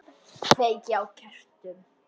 Kveiki á kertum.